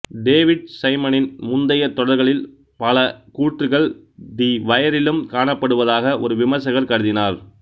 David சைமனின் முந்தையத் தொடர்களின் பல கூற்றுகள் தி வயரிலும் காணப்படுவதாக ஒரு விமர்சகர் கருதினார்